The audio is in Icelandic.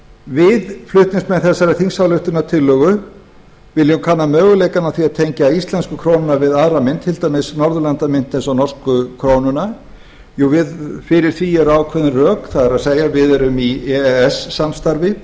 við flutningsmenn þessarar þingsályktunartillögu viljum kanna möguleikana á því að tengja íslensku krónuna við aðra mynt til dæmis norðurlandamynt eins og norsku krónuna fyrir því eru ákveðin rök það er við erum í e e s samstarfinu